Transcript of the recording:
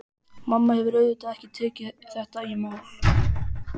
Mamma hefur auðvitað ekki tekið þetta í mál.